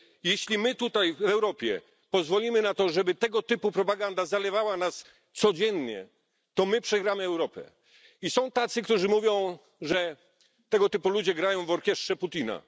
Jeśli my tutaj w Europie pozwolimy na to, żeby tego typu propaganda zalewała nas codziennie, to my przegramy Europę i są tacy, którzy mówią, że tego typu ludzie grają w orkiestrze Putina.